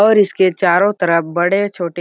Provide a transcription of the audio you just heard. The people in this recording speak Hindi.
और इसके चारों तरफ बड़े-छोटे--